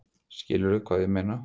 Skilurðu hvað ég meina?